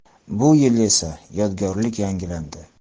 Bu yil esa, yodgorlik yangilandi.